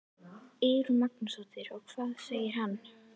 Eyrún Magnúsdóttir: Og hvað segir hann?